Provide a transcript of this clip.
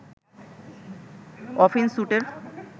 often স্যুটের